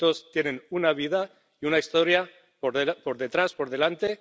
que todos tienen una vida y una historia por detrás, por delante...